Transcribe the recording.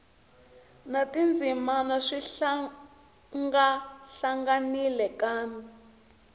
na tindzimana swi hlangahlanganile kambe